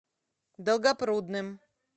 долгопрудным